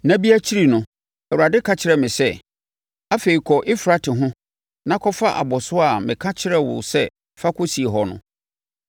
Nna bebree akyi no, Awurade ka kyerɛɛ me sɛ, “Afei kɔ Eufrate ho na kɔfa abɔsoɔ a meka kyerɛɛ wo sɛ fa kɔsie hɔ no.”